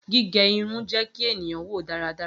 Gige irun jẹ ki eniyan wo daradara.